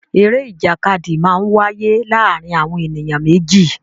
Eré ìjàkadì máa ń wáyé láàárín àwọn ènìyàn méjì